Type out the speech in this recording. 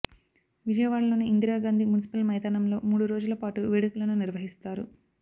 విజయవాడలోని ఇందిరాగాంధీ మున్సిపల్ మైదానంలో మూడు రోజుల పాటు వేడుకలను నిర్వహిస్తారు